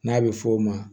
N'a bɛ f'o ma